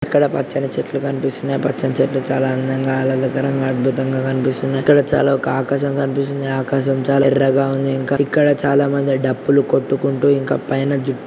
ఇక్కడ పచ్చని చెట్లు కనిపిస్తునాయి. పచ్చని చెట్లు చాలా అందంగా ఆహ్లాదకరంగా అద్బుతంగా కనిపిస్తునాయి. ఇక్కడ చాలా ఒక ఆకాశం కనిపిస్తుంది. ఆకాశం చాలా ఎర్రగా ఉంది ఇంకా ఇక్కడ చాలా మంది డప్పులు కొట్టుకున్--